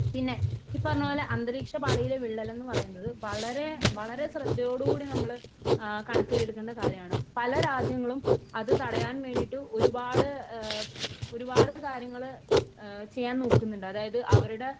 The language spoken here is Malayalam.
പിന്നെ ഈ പറഞ്ഞ പോലെ അന്തരീക്ഷപാളിയിലെ വിള്ളൽ എന്ന് പറയുന്നത് വളരെ വളരെ ശ്രദ്ധയോടുകൂടി നമ്മൾ കണക്കിലെടുക്കേണ്ട കാര്യമാണ്. പല രാജ്യങ്ങളും അത് തടയാൻ വേണ്ടിയിട്ട് ഒരുപാട് ഒരുപാട് കാര്യങ്ങള് ചെയ്യാൻ നോക്കുന്നുണ്ട് . അതായത് അവരുടെ